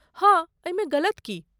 हाँ एहिमे गलत की?